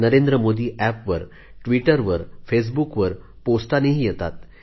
Narendra Modi app वर ट्विटरवर फेसबुकवर पोस्टाने येतात